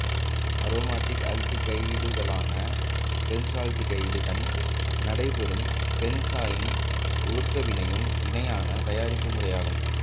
aromatic ஆல்டிகைடுகளான பென்சால்டிகைடுடன் நடைபெறும் பென்சாயின் ஒடுக்கவினையும் இணையான தயாரிப்பு முறையாகும்